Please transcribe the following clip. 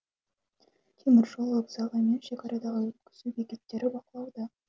теміржол вокзалы мен шекарадағы өткізу бекеттері бақылауда